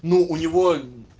ну у него